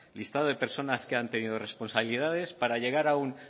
listado de personas que han tenido responsabilidades